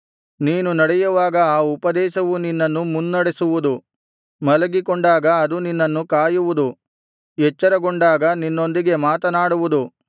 ನೀನು ನಡೆಯುವಾಗ ಆ ಉಪದೇಶವು ನಿನ್ನನ್ನು ಮುನ್ನಡೆಸುವುದು ಮಲಗಿಕೊಂಡಾಗ ಅದು ನಿನ್ನನ್ನು ಕಾಯುವುದು ಎಚ್ಚರಗೊಂಡಾಗ ನಿನ್ನೊಂದಿಗೆ ಮಾತನಾಡುವುದು